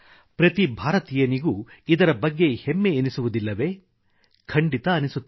ಪ್ರತಿ ಭಾರತೀಯನಿಗೂ ಇದರ ಬಗ್ಗೆ ಹೆಮ್ಮೆ ಎನ್ನಿಸುವುದಿಲ್ಲವೇ ಖಂಡಿತ ಅನ್ನಿಸುತ್ತದೆ